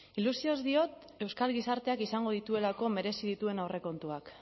ilusioz diot euskal gizarteak izango dituelako merezi dituen aurrekontuak